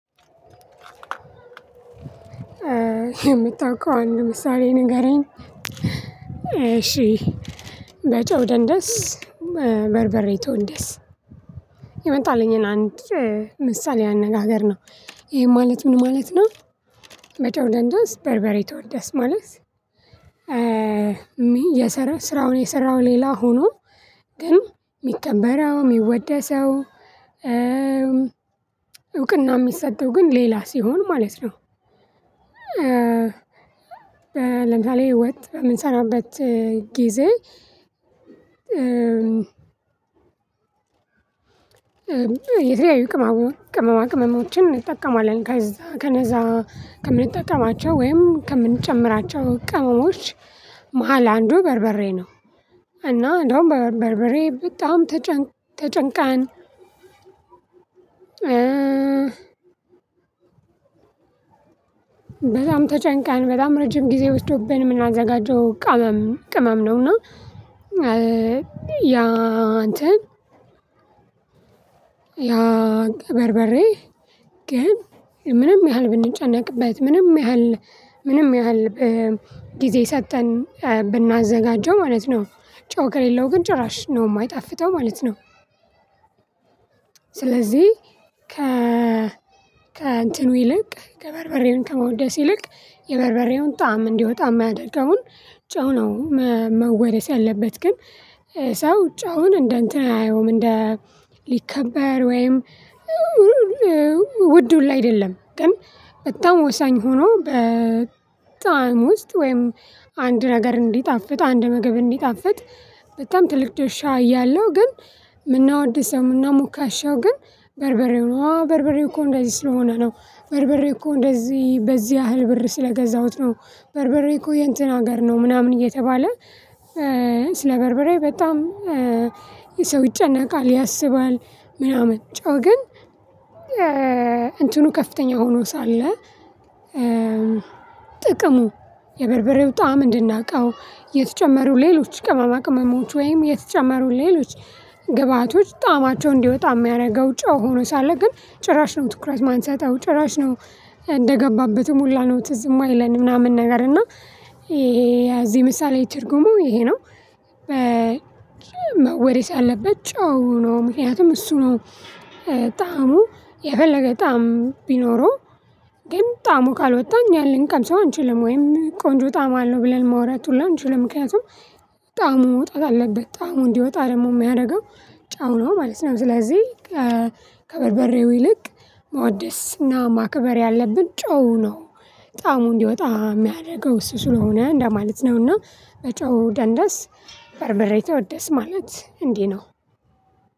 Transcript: ከምታውቀው አንድ ምሳሌ ንገረኝ? እሺ በጨው ደንደስ በርበሬ ተወደስ። የመጣልኝን አንድ ምሳሌ አነጋገር ነው ይሄ ማለት ምን ማለት ነው? መጨው ደንደስ በርበሬ ተወደስ ማለት። የሰራውን የሰራውን ሌላ ሆኖ ግን የሚቀከበረው የሚወደሰው። እውቅና የሚሰጠው ግን ሌላ ሲሆን ማለት ነው። ለምሳሌ ወጥ የምንሰራበት ጊዜ። የተለያዩ ቅመማ ቅመሞችን እንጠቀማለን ከዛ ከነዛ ከምንጠቀማቸው ወይም ከምንጨምራቸው ቀመሞች መሃል አንዱ በርበሬ ነው። እና እንደውም በበርበሬ በጣም ተጨንቅ ተጨንቀን በጣም ተጨንቀን በጣም ረጅም ጊዜ ወስዶብን የምናዘጋጀው ቅመም ቅመም ነው። ነውና ያ አንተ። ያ በርበሬ ግን ምንም ያህል ብንጨነቅበት ምንም ያህል ምንም ያህል ጊዜ ሰጠን ብናዘጋጀው ማለት ነው ጨው ከሌለው ግን ጭራሽ ነው የማይጣፍጠው ማለት ነው። ስለዚህ ከ ከእንትኑ ይልቅ ከበርበሬውን ከመውደስ ይልቅ የበርበሬውን ጣዕም እንዲወጣ የማያደርገውን ጨው ነው። መወደስ ያለበት ግን ሰው ጫውን እንደ እንትን አየውም እንደ ሊከበር ወይም። ውድ ሁሉ አይደለም ግን በጣም ወሳኝ ሆኖ በጣዕም ውስጥ ወይም አንድ ነገር እንዲጣፍጥ አንድ ምግብ እንዲጣፍጥ። በጣም ትልቅ ድርሻ ያለሁ ግን የምናወድሰው የምናሙካሻው ግን በርበሬው ነው አዎ በርበሬው እኮ እንደዚህ ስለሆነ ነው። በርበሬው እኮ እንደዚህ በዚህ ያህል ብር ስለገዛሁት ነው። በርበሬ እኮ የእንትን ሀገር ነው ምናምን እየተባለ ስለ በርብሬ በጣም የሰው ይጨነቃል ያስባል። ምናምን ጨው ግን እንትኑ ከፍተኛ ሆኖ ሳለ። ጥቅሙ የበርበሬው ጣዕም እንድናቀው የተጨመሩ ሌሎች ቅመማ ቅመሞች ወይም የተጨመሩ ሌሎች ግብአቶች ጣማቸውን እንዲወጣ የሚያደርገው ጨው ሆኖ ሳለ ግን ጭራሽ ነው ትኩረት የማንሰጠው ጭራሽ ነው። እንደገባበትም ሁላ ነው ትዝም አእማይለን ምናምን ነገር እና ይሄ ያዚህ ምሳሌ ይችር ጉሞ ይሄ ነው። መወደስ ያለበት ጨው ነው ምክንያቱም እሱ ነው። በጣም የፈለገ ጣዕም ቢኖረው ግን ጣዕሙ ካልወጣኝ እኛ ልንቀምሰው አንችልም ወይም ቆንጆ ጣም አለው ብለን ማውራት ሁሉ አንችልም። ምክንያቱም ጣሙ መውጣት አለበት ጣሙ እንዲወጣ ደግሞ የሚያደርገው ጨው ነው ማለት ነው። ስለዚህ ከበርበሬው ይልቅ መውደስ እና ማክበር ያለብን ጨው ነው በጣም እንዲወጣ የሚያደርገው እሱ ስለሆነ እንደማለት ነው። እና በጨው ደንደስ በርበሬ ተወደስ ማለት እንዲህ ነው።